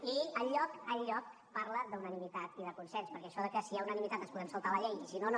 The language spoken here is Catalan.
i enlloc enlloc parla d’unanimitat i de consens perquè això de que si hi ha unanimitat ens podem saltar la llei i si no no